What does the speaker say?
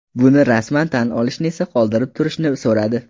Buni rasman tan olishni esa qoldirib turishni so‘radi.